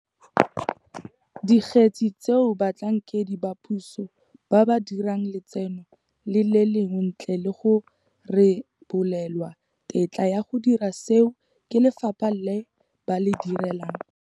Dikgetse tseo batlhankedi ba puso ba ba dirang letseno le lengwe ntle le go rebolelwa tetla ya go dira seo ke lefapha le ba le direlang.